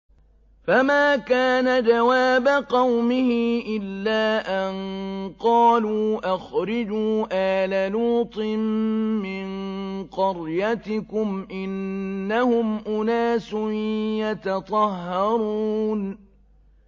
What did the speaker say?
۞ فَمَا كَانَ جَوَابَ قَوْمِهِ إِلَّا أَن قَالُوا أَخْرِجُوا آلَ لُوطٍ مِّن قَرْيَتِكُمْ ۖ إِنَّهُمْ أُنَاسٌ يَتَطَهَّرُونَ